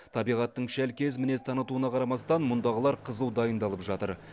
табиғаттың шәлкез мінез танытуына қарамастан мұндағылар қызу дайындалып жатыр